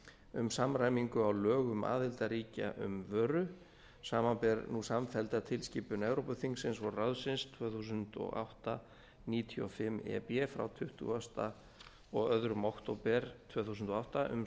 um samræmingu á lögum um aðildarríkja um vöru samanber nú samfellda tilskipun evrópuþingsins og ráðsins tvö þúsund og átta níutíu og fimm e b frá tuttugasta og önnur október tvö þúsund og átta um